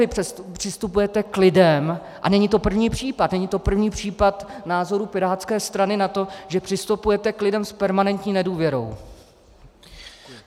Vy přistupujete k lidem, a není to první případ, není to první případ názorů pirátské strany na to, že přistupujete k lidem s permanentní nedůvěrou.